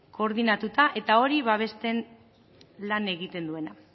koordinatuta eta hori babesten lan egiten duena